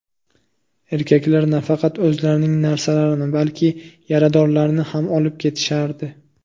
Erkaklar nafaqat o‘zlarining narsalarini, balki yaradorlarni ham olib ketishardi.